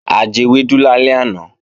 A jewẹ́dú lálẹ́ àná